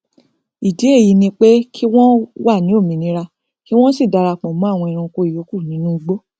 ìdí èyí ni pé kí wọn wà ní òmìnira kí wọn sì darapọ mọn àwọn ẹranko ìyókù nínú igbó